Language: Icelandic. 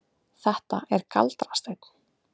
Þetta er galdrasteinn.